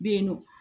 Be yen nɔ